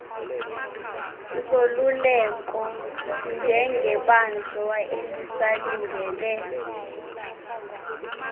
zoluleko njengebanjwa elisalindele